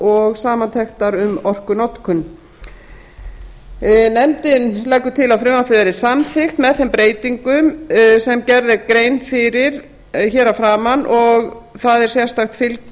og samantektar um orkunotkun nefndin leggur til að frumvarpið verði samþykkt með breytingum sem gerð er grein fyrir hér að framan og það